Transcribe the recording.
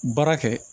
Baara kɛ